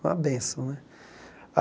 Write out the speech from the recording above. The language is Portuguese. Uma benção, né?